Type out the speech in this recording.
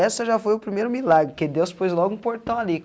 Essa já foi o primeiro milagre, que Deus pôs logo um portão ali.